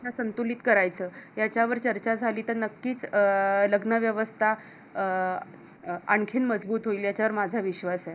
संतुलित करायचं याच्यावर चर्चा झाली तर नक्कीच अं लग्न व्यवस्था आह आणखीन मजबूत होईल याचा वर माझा विश्वास आहे